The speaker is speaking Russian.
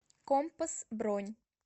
компас бронь